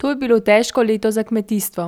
To je bilo težko leto za kmetijstvo,